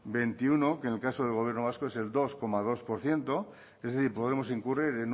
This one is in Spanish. veintiuno que en el caso del gobierno vasco es el dos coma dos por ciento es decir podremos incurrir